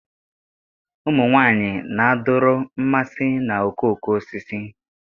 Ụmụ nwanyị na-adọrọ mmasị na okooko osisi